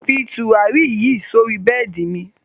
Fí tùràrí yí sọ̀rí bẹẹ́di mi!